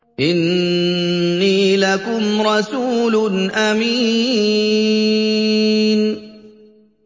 إِنِّي لَكُمْ رَسُولٌ أَمِينٌ